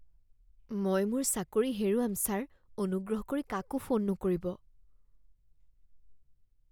মই মোৰ চাকৰি হেৰুৱাম ছাৰ। অনুগ্ৰহ কৰি কাকো ফোন নকৰিব